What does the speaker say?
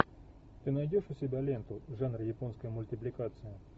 ты найдешь у себя ленту жанра японская мультипликация